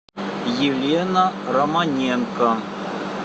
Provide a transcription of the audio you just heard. елена романенко